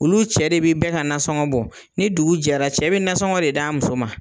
Olu cɛ de bɛ bɛɛ ka nasɔngɔ bɔ, ni dugu jɛra cɛ bɛ nasɔngɔ de d'a muso ma.